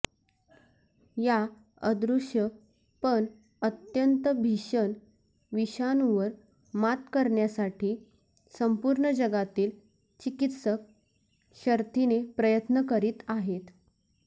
या अदृश्य पण अत्यंत भीषण विषाणूवर मात करण्यासाठी संपूर्ण जगातील चिकित्सक शर्थीने प्रयत्न करीत आहेत